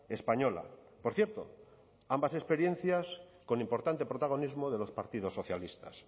española por cierto ambas experiencias con importante protagonismo de los partidos socialistas